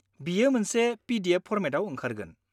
बेयो मोनसे PDF फरमेटआव ओंखारगोन।